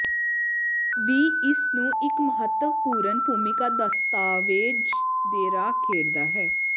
ਵੀ ਇਸ ਨੂੰ ਇੱਕ ਮਹੱਤਵਪੂਰਨ ਭੂਮਿਕਾ ਦਸਤਾਵੇਜ਼ ਦੇ ਰਾਹ ਖੇਡਦਾ ਹੈ